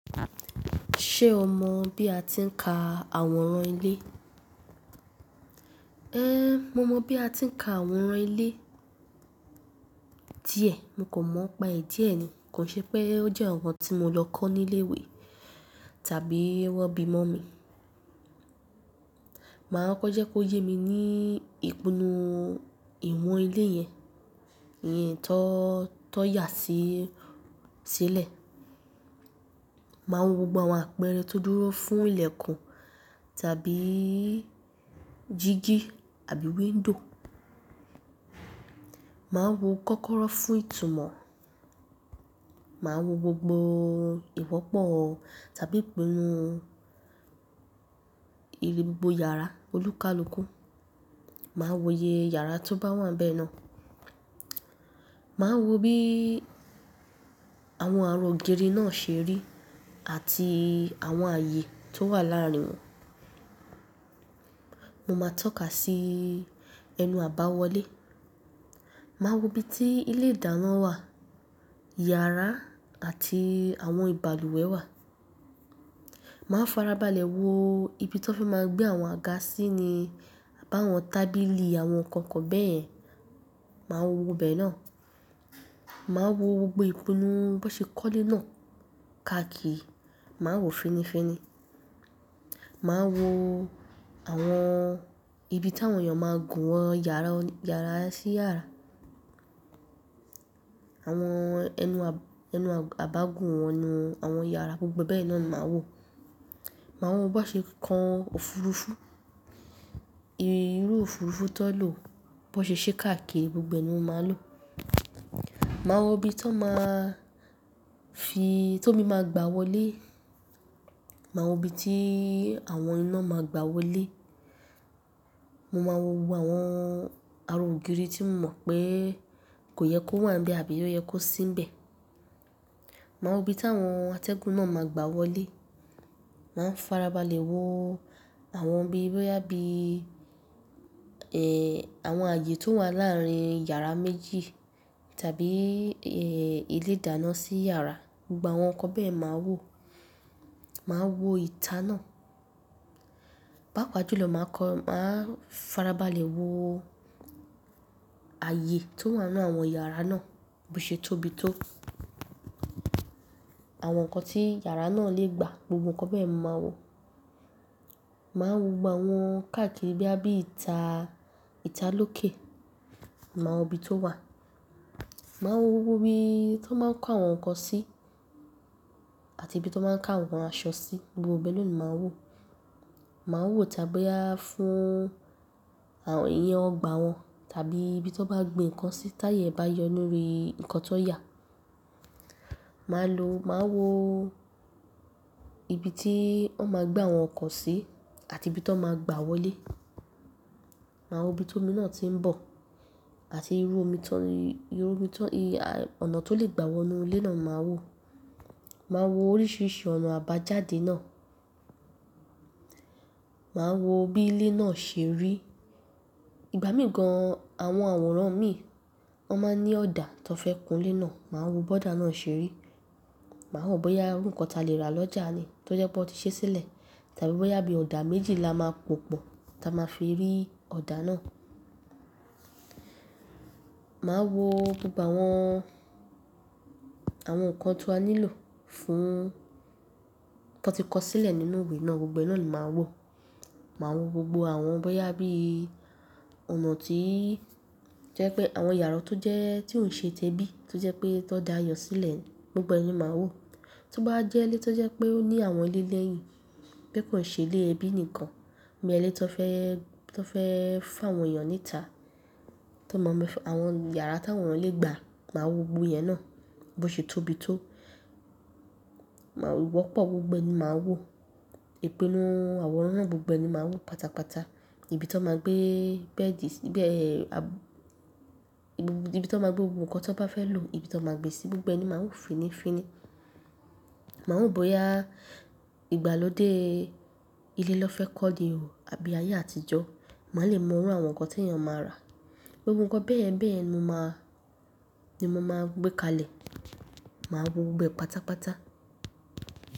Ṣé o mọ bí a ti ń ka àwọran ilé? É mo mọ bí a ti ń ka àwọran ilé. Díẹ̀, mo kò mọ̀ n pa è díẹ̀ ni. Kò ṣe pé ó jẹ́ nnkankan tí mo lọ kọ́ ní ilé ìwé tàbí wọn bí mọ́ mi. Màá kọ́ko jẹ́ kó yé mi ní ìpinnu ìwọ̀n ilé yẹn, ìyẹn tó, tó yà sí, sílẹ̀. Màá wo gbogbo àwọn àpẹẹrẹ tó dúró fún ilẹ̀kùn tàbí jìgí àbí window. Màá wo kọ́kọ́rọ́ fún ìtumọ̀. Màá wo gbogbo ìwọ́pọ̀ tàbí ìpinnu, ìbí gbogbo yàrá olúkalúkù. Màá wo iye yàrá tó bá wà n bẹ̀ náà. Màá wo bí àwọn ara ògiri náà ṣe rí àti àwọn ààyè tó wà láàárín wọn. Mo máa tọ́ka sí ẹnu àbáwọlé. Màá wo ibi tí ilé-ìdáná wà, yàrá àti àwọn ìbalùwẹ̀ wà. Màá farabalẹ̀ wo ibi tan fe máa gbé àwọn àga sí ni, abi àwọn tábìlì, àwọn nǹkan kan bẹ́yẹ̀n, màá wo bẹ̀ náà. Màá wo gbogbo ìpinnu bi won ṣe kọ́lé náà káàkiri, màá wo fínnífínní. Màá wo àwọn ibi tí àwọn èèyàn máa gùn wọn yàrá, yàrá sí yàrá. Àwọn ẹnu, ẹnu àbágùn wọn enu àwọn yàrá gbogbo e bẹ́ẹ̀ náà ni màá wò. Màá wo bi wón ṣe kan òfurufú, irú òfurufú tan lò, bi wón ṣe ṣe káàkiri gbogbo ẹ ni màá lò. Màá wo ibi tí tan máa fi, ti ómi máa gbá wọlé. Màá wo ibi tí àwọn iná máa gbá wọlé. Mo máa wo gbogbo àwọn ara ògiri tí mo mọ̀ pé kò yẹ kó wà n bẹ̀ àbí ó yẹ kó sí nbẹ̀. Màá wo ibi tí àwọn atẹ́gùn náà máa gbá wọlé. Màá farabalẹ̀ wo àwọn bí i, bí i, àwọn ààyè tó wà láàárín yàrá méjì tàbí, ilé-ìdáná sí yàrá, gbogbo àwọn nǹkan bẹ́yẹ̀n màá wò. Màá wo ìta náà. Báapaa jú lọ màá kọ́, màá farabalẹ̀ wo ààyè tó wà nínú àwọn yàrá náà, bó ṣe tóbi tó. Àwọn nǹkan tí yàrá náà lè gba, gbogbo nǹkan bẹ́yẹ̀n mo màá wò. Màá wo gbogbo àwọn káàkiri bí i, bí i ìta, ìta lókè, màá wo ibi tó wà. Màá wo gbogbo ibi tan máa n kó àwọn nǹkan sí àti ibi tí wọ́n máa n ká àwọn aṣọ sí, gbogbo bẹ́ naa ni màá wò. Màá wò tàbí boyá fún àwọn, ìyẹn ọgbà wọn tàbí ibi tí wọ́n bá gbin nǹkan sí táayẹ́ e bá yọ lórí nǹkan tan yà. Màá lo, màá wo ibi tí wọn máa gbé àwọn nǹkan sí àti ibi tan máa gbá wọlé. Màá wo ibi tómi náà tí ń bọ̀ àti irú omi tó, irú omi tó, ọ̀nà tó lè gbá wọ inú ilé náà màá wò. Màá wo oríṣìíríṣìí ọ̀nà àbájáde náà. Màá wo bí ilé náà ṣe rí. Ìgbà míì gan, àwọn àwòrán mi, wọ́n máa ń ní ọ̀dà tan fẹ́ kun ilé náà, màá wo bi ọ̀dà náà ṣe rí. Màá wò bóyá irú nǹkan tí a lè rà lọ́jà ni tó jẹ pe won ti ṣe sílẹ̀ tàbí bóyá bí ọ̀dà méjì la máa pòpọ̀ tí a máa fi rí ọ̀dà náà. Màá wo gbogbo àwọn, àwọn nǹkan tí a nílò fún tan ti kọ́ sílẹ̀ nínú ìwé náà, gbogbo ẹ náà ni màá wò. Màá wo gbogbo àwọn bóyá bí ọ̀nà tí jẹ́ pé àwọn yàrá tó jẹ́, tí òún ṣe tẹ́bí, tó jẹ́ pé tan dáa yàn sílẹ̀, gbogbo ẹ ni màá wò. Tó bá wa jẹ́ ilé tó jẹ́ pé ó ní àwọn ilé lẹ́yìn, pé kò ṣe ilé ẹbí nìkan, boya ilé tan fẹ́, tan fẹ́ fún àwọn èèyàn níta, tan maa ma fi, àwọn yàrá tí àwọn èeyàn lè gba, màá wo gbogbo ìyẹn náà, bó ṣe tóbi tó. Màá wò ìwọ́pọ̀ gbogbo ẹ ni màá wò. Ìpinnu àwọn aworan yen gbogbo ẹ ni màá wò pátápátá. Ibi tan máa gbé bẹ́ẹ̀dì sí, bẹ́ẹ̀, à, ibi tan máa gbé gbogbo nǹkan tan bá fẹ́ lò, ibi tan máa gbé sí gbogbo ẹ ni màá wò fínnífínní. Màá wò bóyá ìgbàlódé ilé na fẹ́ kọ́ ni o àbí ayé àtijọ́. Màá lè mọ irú àwọn nǹkan tí èèyàn máa ra. Gbogbo nǹkan bẹ́ẹ̀bẹ́ẹ̀ ni mo máa, ni mo máa gbé kalẹ̀. Màá wo gbogbo ẹ pátápátá.